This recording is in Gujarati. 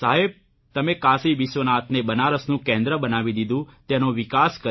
સાહેબ તમે કાશી વિશ્વનાથને બનારસનું કેન્દ્ર બનાવી દીધું તેનો વિકાસ કર્યો